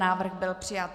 Návrh byl přijat.